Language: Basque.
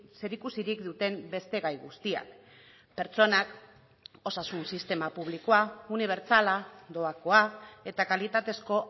zerikusirik duten beste gai guztiak pertsonak osasun sistema publikoa unibertsala doakoa eta kalitatezko